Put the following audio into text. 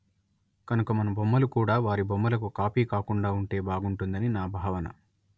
కనుక మన బొమ్మలు కూడా వారి బొమ్మలకు కాపీ కాకుండా ఉంటే బాగుంటుందని నా భావన